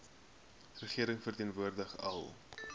regering verteenwoordig al